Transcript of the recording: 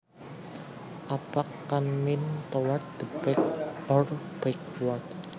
Aback can mean toward the back or backward